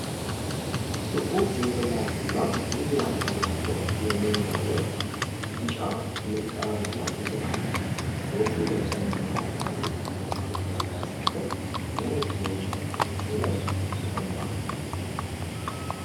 ጥቁር ጭንቅላትና ቡኒ አካል ያለው የሜይና ወፍ ቢጫ ምንቃርና እግር አለው። ወፉ ደብዛዛ አረንጓዴ የኋላ ዳራ ባለበት ደረቅ የእንጨት ምሰሶ ላይ ተቀምጧል።